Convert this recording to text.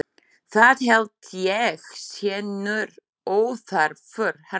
Það held ég sé nú óþarfur harmur.